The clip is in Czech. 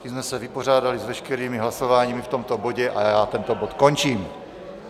Tím jsme se vypořádali s veškerými hlasováními v tomto bodě a já tento bod končím.